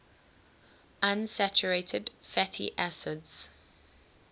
unsaturated fatty acids